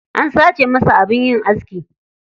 An sace masa abin yin aski.